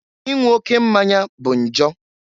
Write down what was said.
Inwu oke mmanya bụ njọ.